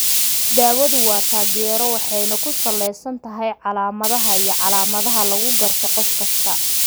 Daawadu waa taageero waxayna ku salaysan tahay calaamadaha iyo calaamadaha lagu garto qof kasta.